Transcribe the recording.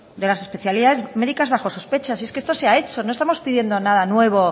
de las especialidades medicas bajo sospecha y es que esto se ha hecho no estamos pidiendo nada nuevo